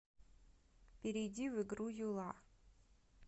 перейди в игру юла